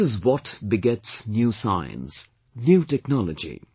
This is what begets new Science, new technology